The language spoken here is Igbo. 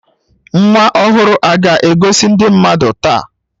Nwa ọhụrụ a ga-egosi ndị mmadụ taa